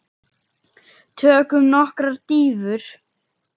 Tökum nokkrar dýfur!